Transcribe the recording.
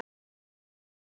Þú átt að þjóna okkur.